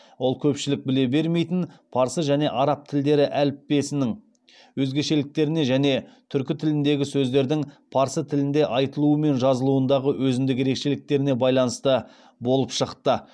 ол көпшілік біле бермейтін парсы және араб тілдері әліппесінің өзгешеліктеріне және түркі тіліндегі сөздердің парсы тілінде айтылуы мен жазылуындағы өзіндік ерекшеліктеріне байланысты болып шықты